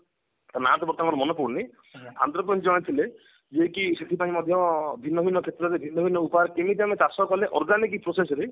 ନା ଟା ତ ମୋର ମାନେ ପଡୁନି ଆନ୍ଧ୍ରପ୍ରଦେଶ ରେ ଜଣେ ଥିଲେ ଯିଏ କି ସେଠି ପାଇଁ ମଧ୍ୟ ଭିନ୍ନଭିନ୍ନ କ୍ଷେତ୍ରରେ ଭିନ୍ନ ଭିନ୍ନ ଉପାଯରେ କେମିତି ଆମେ ଚାଷ କଲେ organic process ରେ